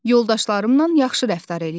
Yoldaşlarımla yaxşı rəftar eləyirəm.